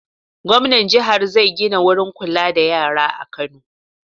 Gwamnan jihar zai gina wurin kula da yara a Kano.